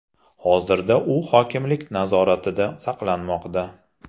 Hozirda u hokimlik nazoratida saqlanmoqda.